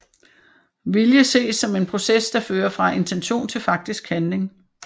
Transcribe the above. Vilje ses som en proces der fører fra intention til faktisk handling